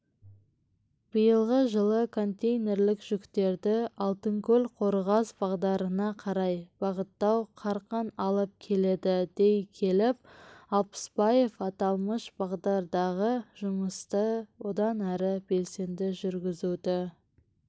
биылғы жылы контейнерлік жүктерді алтынкөл-қорғас бағдарына қарай бағыттау қарқын алып келеді дей келіп алпысбаев аталмыш бағдардағы жұмысты одан әрі белсенді жүргізуді